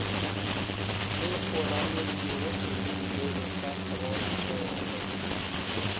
le kgomaretšego serurubele sa throtlele